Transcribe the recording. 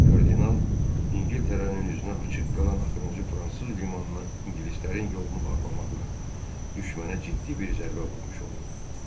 Kardinal İngiltərənin üzünə açıq qalan axırıncı fransız limanına ingilislərin yolunu bağlamaqla düşmənə ciddi bir zərbə vurmuş olurdu.